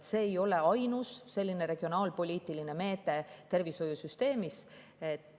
ei ole ainus regionaalpoliitiline meede tervishoiusüsteemis.